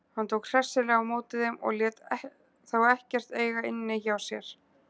Hann tók hressilega á móti þeim og lét þá ekkert eiga inni hjá sér.